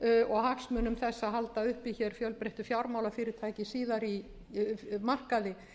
og hagsmunum þess að halda uppi hér fjölbreyttu fjármálafyrirtæki markaði